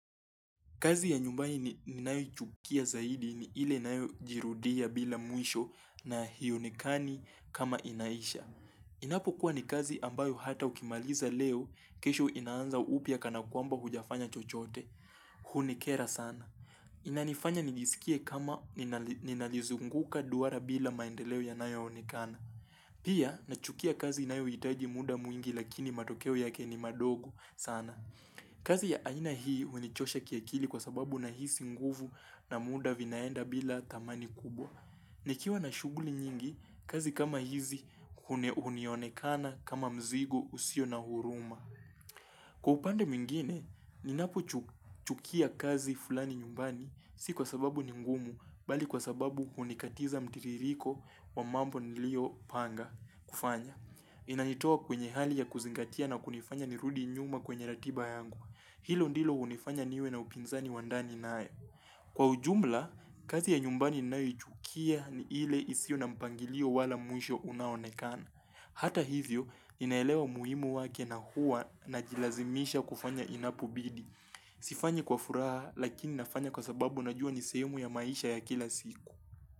Kazi ya nyumbani ni nayoi chukia zaidi ni ile inayo jirudia bila mwisho na hio nekani kama inaisha. Inapo kuwa ni kazi ambayo hata ukimaliza leo kesho inaanza upya kana kwamba hujafanya chochote. Hunikera sana. Inanifanya nijisikie kama ninalizunguka duara bila maendeleo ya nayo onekana. Pia nachukia kazi inayo hitaji muda mwingi lakini matokeo yake ni madogo sana. Kazi ya aina hii hunichosha kiakili kwa sababu na hisi nguvu na muda vinaenda bila thamani kubwa nikiwa na shughuli nyingi, kazi kama hizi huneunionekana kama mzigo usio na huruma Kwa upande mwingine, ninapo chukia kazi fulani nyumbani si kwa sababu ningumu Bali kwa sababu hunikatiza mtiririko wa mambo niliyo panga kufanya Inanitoa kwenye hali ya kuzingatia na kunifanya nirudi nyuma kwenye ratiba yangu Hilo ndilo hunifanya niwe na upinzani wandani nayo Kwa ujumla, kazi ya nyumbani ninayo ichukia ni ile isio na mpangilio wala mwisho unaonekana Hata hivyo, ninaelewa umuhimu wake na huwa na jilazimisha kufanya inapo bidi Sifanyi kwa furaha lakini nafanya kwa sababu najua nisehemu ya maisha ya kila siku.